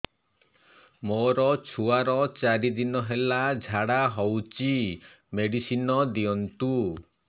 ମୋର ଛୁଆର ଚାରି ଦିନ ହେଲା ଝାଡା ହଉଚି ମେଡିସିନ ଦିଅନ୍ତୁ